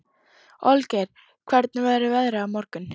Olgeir, hvernig verður veðrið á morgun?